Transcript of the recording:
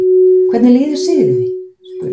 Hvernig líður Sigríði? spurði ég.